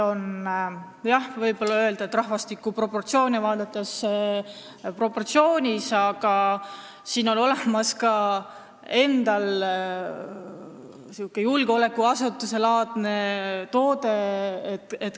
Jah, võib öelda, et see on rahvastiku proportsioone vaadates proportsioonis, aga Tallinnal endal on olemas sihuke julgeolekuasutuselaadne toode.